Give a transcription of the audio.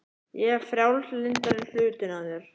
Ég er frjálslyndari hlutinn af þér.